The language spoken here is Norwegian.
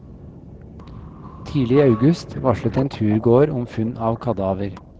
Tidlig i august varslet en turgåer om funn av kadaver.